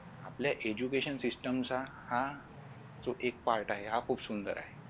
आपल्या Education system चा हा जो एक part आहे हा खुप सुंदर आहे